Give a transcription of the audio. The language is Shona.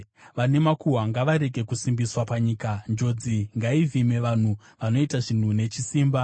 Vane makuhwa ngavarege kusimbiswa panyika; njodzi ngaivhime vanhu vanoita zvinhu nechisimba.